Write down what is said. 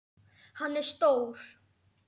Hann er stór.